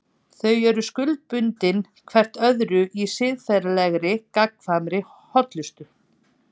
Þau eru skuldbundin hvert öðru í siðferðilegri, gagnkvæmri hollustu.